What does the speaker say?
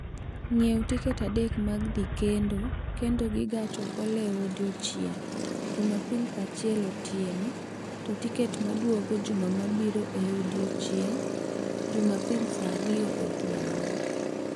ng�iewo tiket adek mag dhi kendo kendo gi gach okoloe odiechieng� Jumapil saa achiel otieno, to tiket ma duogo juma mabiro e odiechieng� Jumapil saa ariyo odhiambo